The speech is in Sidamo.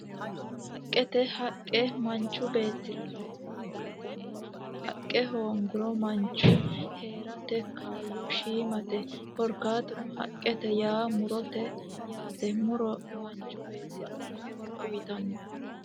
Haqqete, haqqe manchu beetira lowo horo uyitano haqqe hooguro manchu heerate kaayo shiimate korikatunno haqqete yaa murote yaate muro manchu beetira horo uyitano